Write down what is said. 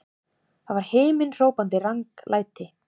Það var himinhrópandi ranglæti!